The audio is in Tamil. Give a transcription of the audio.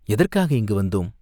எதற்காக இங்கு வந்தோம்?